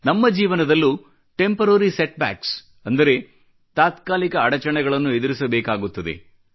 ನಮ್ಮ ಜೀವನದಲ್ಲೂ temporary setbacks ಅಂದರೆ ತಾತ್ಕಾಲಿಕ ಅಡಚಣೆಗಳನ್ನು ಎದುರಿಸಬೇಕಾಗುತ್ತದೆ